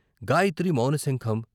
గాయత్రి మౌన శంఖం